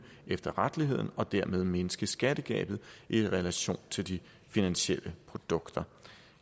efterretteligheden og dermed mindske skattegabet i relation til de finansielle produkter